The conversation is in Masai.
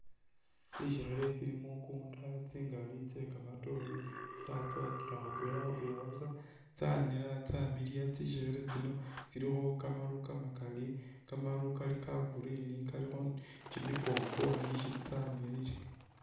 Tsisekhele tsili mukunda tsingali tse kamatoore tsatsowakila khutwela khutwela busa tsanera tsamiliya tsisekhele tsino tsilikho kamaru kamakali kamaru kali ka green kalikho kyimikongoni tsamiliya .